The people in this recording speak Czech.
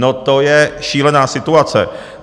No to je šílená situace!